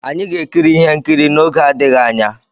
Anyị ga-ekiri ihe nkiri ihe nkiri n'oge adịghị anya.